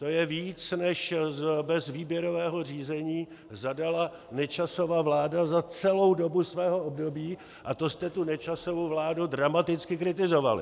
To je víc, než bez výběrového řízení zadala Nečasova vláda za celou dobu svého období, a to jste tu Nečasovu vládu dramaticky kritizovali.